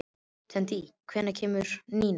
Teitný, hvenær kemur nían?